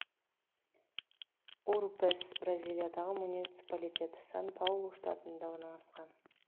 урупес бразилиядағы муниципалитет сан паулу штатында орналасқан